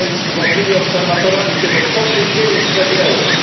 uważnymi obserwatorami tego, co się dzieje w strefie euro.